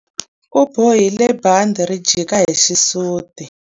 U bohile bandhi ri jika hi xisuti.